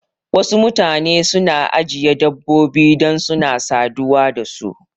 Wasu mutane suna ajiye dabbobi dan suna saduwa da su